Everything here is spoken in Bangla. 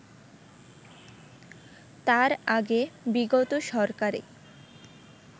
তার আগে বিগত সরকারে